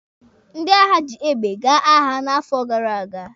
Ndị agha ji egbe gaa agha n'afọ gara aga.